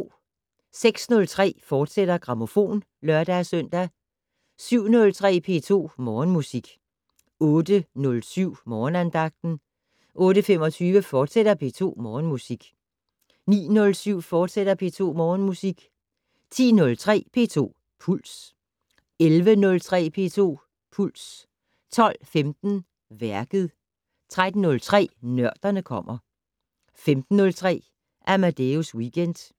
06:03: Grammofon, fortsat (lør-søn) 07:03: P2 Morgenmusik 08:07: Morgenandagten 08:25: P2 Morgenmusik, fortsat 09:07: P2 Morgenmusik, fortsat 10:03: P2 Puls 11:03: P2 Puls 12:15: Værket 13:03: Nørderne kommer 15:03: Amadeus Weekend